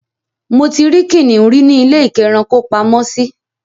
Mo ti rí kìnnìún rí ní ilé-ìkẹ́rankopamọ́sí.